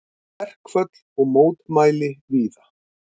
Verkföll og mótmæli víða